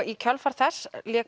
í kjölfari þess